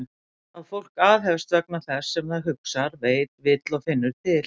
Að fólk aðhefst vegna þess sem það hugsar, veit, vill og finnur til?